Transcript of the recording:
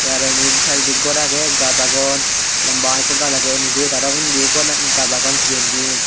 te aro endi saaidodi gor agey gaj agon lamba ekko gaj agey aynuju te aro undi gaj agon pijendi.